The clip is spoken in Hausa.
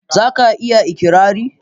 za ka iya ikirari?